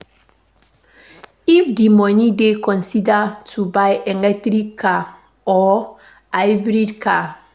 If di money dey consider to buy electric car or hybrid model